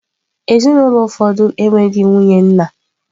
Ezinụlọ ụfọdụ enweghị nwunye nna.